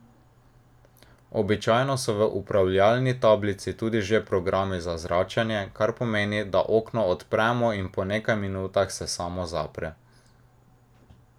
Običajno so v upravljalni tablici tudi že programi za zračenje, kar pomeni, da okno odpremo in po nekaj minutah se samo zapre.